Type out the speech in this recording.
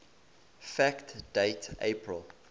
fact date april